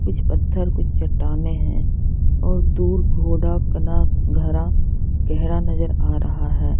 कुछ पत्थर कुछ चट्टाने हैं और दूर घोड़ा कना घरा गहरा नज़र आ रहा है।